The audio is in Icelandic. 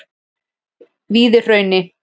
Víðihrauni